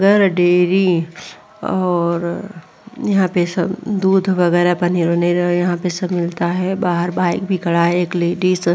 गर डेरी और यहां पे सब दूध वगेरा पनीर वनीर यहाँ पर सब मिलता है। बाहर बाइक भी खड़ा है। एक लेडीज --